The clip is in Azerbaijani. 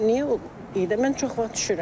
Niyə mən çox vaxt düşürəm.